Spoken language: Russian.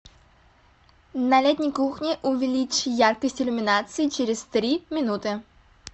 на летней кухне увеличь яркость иллюминации через три минуты